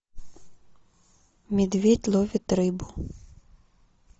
медведь ловит рыбу